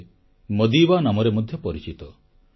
ସେ ମାଦିବା ନାମରେ ମଧ୍ୟ ପରିଚିତ